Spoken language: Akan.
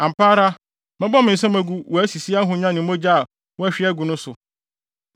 “ ‘Ampa ara mɛbɔ me nsam agu wʼasisi ahonya ne mogya a woahwie agu no so.